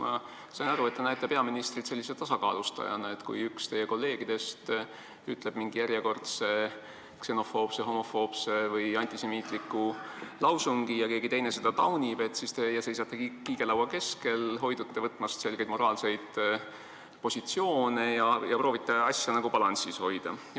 Ma sain aru, et te näete peaministrit sellise tasakaalustajana: kui üks teie kolleegidest ütleb mingi järjekordse ksenofoobse, homofoobse või antisemiitliku lause ja keegi teine seda taunib, siis teie seisate kiigelaua keskel, hoidute võtmast selget moraalset positsiooni ja proovite asja nagu balansis hoida.